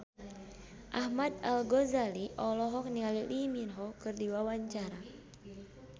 Ahmad Al-Ghazali olohok ningali Lee Min Ho keur diwawancara